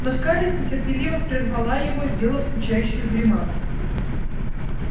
но скарлетт нетерпеливо прервала его сделав скучающую гримасу